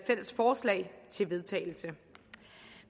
fælles forslag til vedtagelse